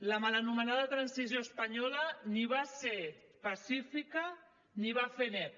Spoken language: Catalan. la mal anomenada transició espanyola ni va ser pacífica ni va fer net